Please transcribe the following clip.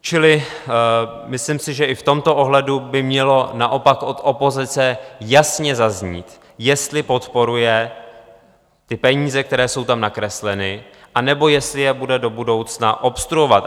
Čili myslím si, že i v tomto ohledu by mělo naopak od opozice jasně zaznít, jestli podporuje ty peníze, které jsou tam nakresleny, anebo jestli je bude do budoucna obstruovat.